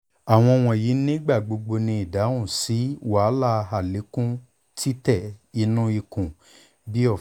awọn wọnyi nigbagbogbo ni idahun si wahala alekun titẹ inu ikun bii ọfun